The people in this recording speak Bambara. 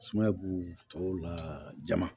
Sumaya b'u tɔw la jama